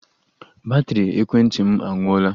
Batrị ekwentị m anwụọla